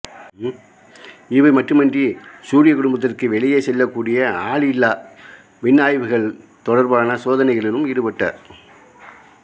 இவை மட்டுமின்றி சூரியக் குடும்பத்திற்கு வெளியே செல்லக்கூடிய ஆளில்லா விண்ணாய்விகள் தொடர்பான சோதனைகளிலும் ஈடுபட்டார்